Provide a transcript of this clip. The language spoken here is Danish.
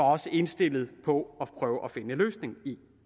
også indstillet på at prøve at finde en løsning